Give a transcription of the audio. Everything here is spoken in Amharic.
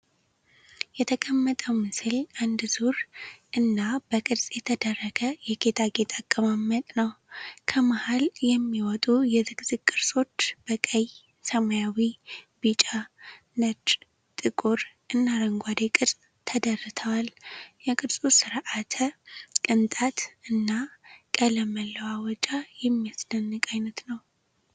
የተቀመጠው ምስል አንድ ዙር እና በቅርጽ የተደረገ የጌጣጌጥ አቀማመጥ ነው። ከመሃል የሚወጡ የዝግዝግ ቅርጾች በቀይ፣ ሰማያዊ፣ ቢጫ፣ ነጭ፣ ጥቁር እና አረንጓዴ ቅርጽ ተደርተዋል። የቅርጹ ስርዓተ ቅንጣት እና ቀለም መለዋወጫ የሚያስደንቅ አይነት ነው፡፡